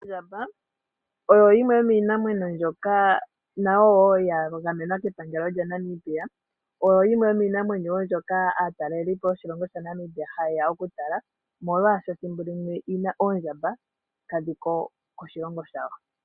Ondjamba oyo yimwe yomiinamwenyo mbyoka ya gamenwa kepangelo lyaNamibia. Oyo yimwe yomiinamwenyo mbyoka aatalelipo yoshilongo shaNamibia haye ya okutala, molwaashoka ethimbo limwe oondjamba kadhi ko koshilongo shawo.